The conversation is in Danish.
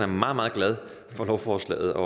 meget meget glad for lovforslaget og